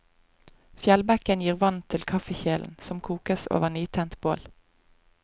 Fjellbekken gir vann til kaffekjelen, som kokes over nytent bål.